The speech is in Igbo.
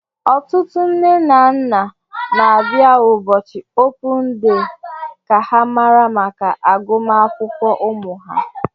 Ọtụtụ nne na nna na abịa ụbọchị opun dee ka ha mara maka agụmakwụkwọ ụmụ ha.